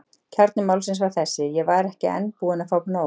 Kjarni málsins var þessi: Ég var enn ekki búinn að fá nóg.